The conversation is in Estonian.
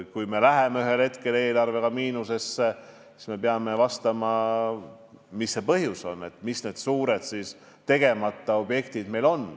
Kui me läheme ühel hetkel eelarvega miinusesse, siis me peame vaatama, mis see põhjus on, mis need suured tegemata asjad meil on.